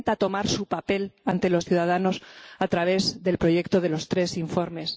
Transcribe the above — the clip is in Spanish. Intenta tomar su papel ante los ciudadanos a través del proyecto de los tres informes.